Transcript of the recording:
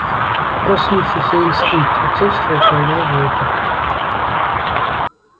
проснувшийся инстинкт отцовства управлял волком